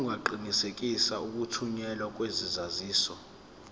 ungaqinisekisa ukuthunyelwa kwesaziso